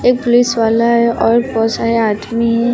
एक पुलिस वाला है और बहोत सारे आदमी हैं।